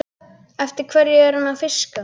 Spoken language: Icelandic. Eftir hverju er hann að fiska?